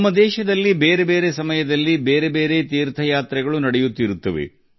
ನಮ್ಮ ದೇಶದಲ್ಲಿ ಕಾಲಕಾಲಕ್ಕೆ ವಿವಿಧ ದೇವಯಾತ್ರೆಗಳೂ ನಡೆಯುತ್ತವೆ